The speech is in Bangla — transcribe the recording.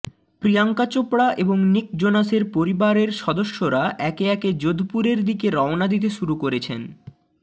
প্রিয়াঙ্কা চোপড়া এবং নিক জোনাসের পরিবারের সদস্যরা একে একে যোধপুরের দিকে রওনা দিতে শুরু করেছেন